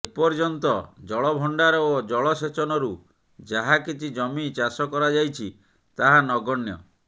ଏପର୍ଯ୍ୟନ୍ତ ଜଳ ଭଣ୍ଡାର ଓ ଜଳସେଚନରୁ ଯାହାକିଛି ଜମି ଚାଷ କରାଯାଇଛି ତାହା ନଗଣ୍ୟ